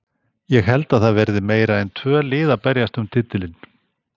Ég held að það verði meira en tvö lið að berjast um titilinn.